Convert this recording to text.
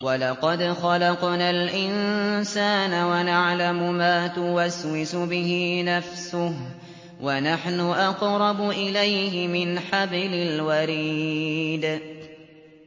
وَلَقَدْ خَلَقْنَا الْإِنسَانَ وَنَعْلَمُ مَا تُوَسْوِسُ بِهِ نَفْسُهُ ۖ وَنَحْنُ أَقْرَبُ إِلَيْهِ مِنْ حَبْلِ الْوَرِيدِ